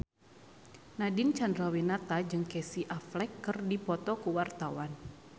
Nadine Chandrawinata jeung Casey Affleck keur dipoto ku wartawan